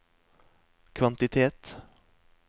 kvantitet